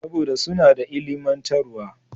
Saboda suna da ilimantarwa.